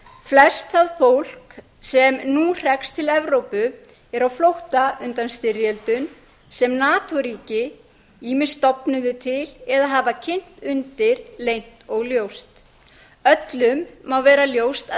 flest það fólk sem nú hrekst til evrópu er á flótta undan styrjöldum sem nato ríki ýmist stofnuðu til eða hafa kynt undir leynt og ljóst öllum má vera ljóst að